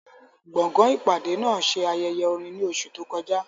Gbọ̀ngàn ìpàdé náà ṣe ayẹyẹ orin ní oṣù tó kọjá.